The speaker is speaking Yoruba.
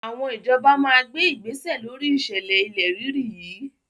Àwọn ìjọba máa gbé igbésẹ̀ lóri ìṣẹ̀lẹ̀ ilẹ̀ rírì yìí.